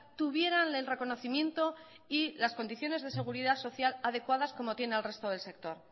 tuvieran el reconocimiento y las condiciones de la seguridad social adecuadas como tiene el resto del sector